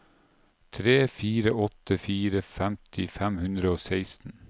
tre fire åtte fire femti fem hundre og seksten